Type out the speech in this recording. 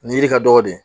Nin yiri ka dɔgɔ dɛ